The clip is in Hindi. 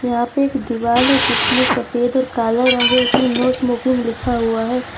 यहां पे एक दीवाल है जिसमें सफेद और काला रंग है इसमें नो स्मोकिंग लिखा हुआ है।